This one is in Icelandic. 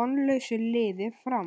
vonlausu liði Fram.